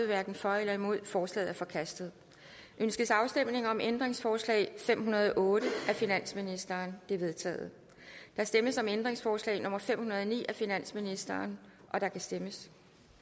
hverken for eller imod stemte forslaget er forkastet ønskes afstemning om ændringsforslag nummer fem hundrede og otte af finansministeren det er vedtaget der stemmes om ændringsforslag nummer fem hundrede og ni af finansministeren og der kan stemmes